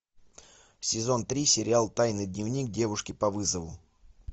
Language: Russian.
сезон три сериал тайный дневник девушки по вызову